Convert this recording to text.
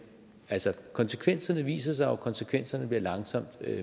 konsekvenserne viser sig jo og konsekvenserne bliver langsomt